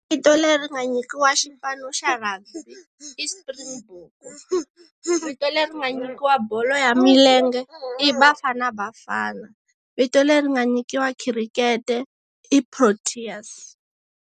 Vito leri nga nyikiwa xipano xa rugby, i Springbok. Vito leri ma nyikiwa bolo ya milenge, i Bafana Bafana. Vito leri nga nyikiwa cricket i Proteas.